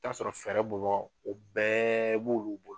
T'a sɔrɔ fɛrɛ bɔgaw o bɛɛ b' olu bolo